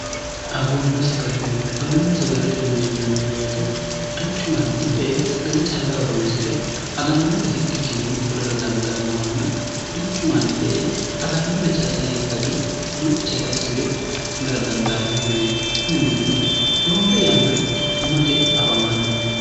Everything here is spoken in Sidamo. agunna sagalete mini yinanni boyite duuchu manni e e sagale callahoroonsi're agannore hidhikkinni fulara dandaannohonna duuchu manni e e agannore callahi age duuchare assi're fulara dandaannu mineeti kuni minino roore yanna quchummate afamanno